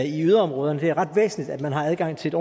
i yderområderne det er ret væsentligt at man har adgang til et